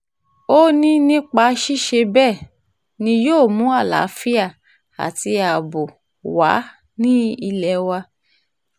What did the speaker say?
ó ní nípa ṣíṣe bẹ́ẹ̀ ni yóò mú àlàáfíà àti ààbò wà ní ilé wa